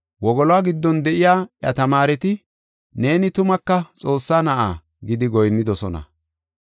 Wogoluwa giddon de7iya iya tamaareti, “Neeni tumaka Xoossa Na7a” gidi goyinnidosona.